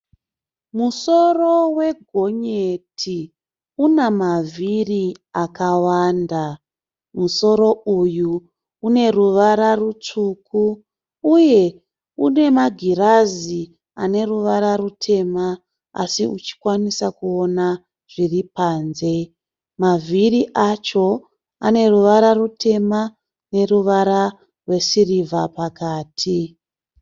Musoro wegonyeti una mavhiri akawanda. Musoro uyu uneruvara rutsvuku, uye unemagirazi aneruvara rutema asi uchikwanisa kuona zviripanze. Mavhiri acho aneruvara rutema neruvara rwesirivha pakati.